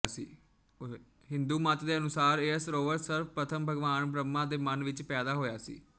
ਹਿੰਦੂ ਮੱਤ ਦੇ ਅਨੁਸਾਰ ਇਹ ਸਰੋਵਰ ਸਰਵਪ੍ਰਥਮ ਭਗਵਾਨ ਬ੍ਰਹਮਾ ਦੇ ਮਨ ਵਿੱਚ ਪੈਦਾ ਹੋਇਆ ਸੀ